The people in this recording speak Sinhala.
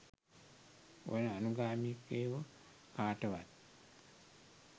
ඔය අනුගාමිකයො කාටවත්